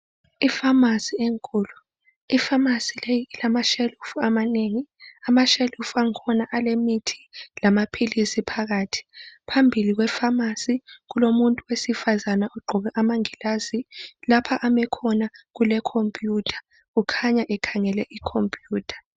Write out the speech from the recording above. ifamasi enkulu ifamasi leyi ilama tshelufu amanengi amatshelufu angikhona alemithi lamaphilisi phakathi phambili kwefamasi kulomuntu owesifazana ogqoke amangilazi lapho ame khona kule compute kukhanya ekhangele icomputer